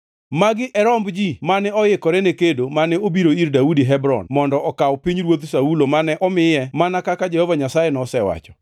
Magi e romb ji mane oikore ne kedo mane obiro ir Daudi Hebron mondo okaw pinyruodh Saulo mane omiye mana kaka Jehova Nyasaye nosewacho: